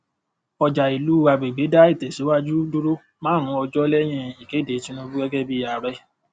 ọjà ìlú agbègbè dá ìtẹsíwájú dúró márùn ọjọ lẹyìn ìkéde tinubu gẹgẹ bí ààrẹ